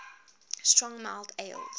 strong mild ales